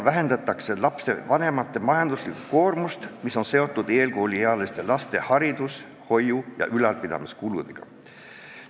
Vähendatakse lapsevanemate majanduslikku koormust, mis on seotud koolieelikute hariduse, hoiu ja ülalpidamise kuludega.